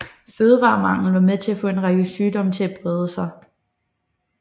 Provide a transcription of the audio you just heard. Fødevaremangel var med til at få en række sygdomme til at brede sig